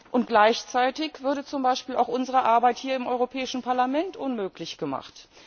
Und gleichzeitig würde zum Beispiel auch unsere Arbeit hier im Europäischen Parlament unmöglich gemacht.